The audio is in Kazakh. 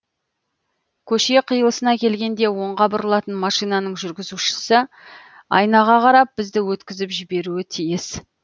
көше қиылысына келгенде оңға бұрылатын машинаның жүргізушісі айнаға қарап бізді өткізіп жіберуі тиіс